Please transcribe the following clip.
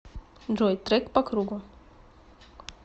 джой трек по кругу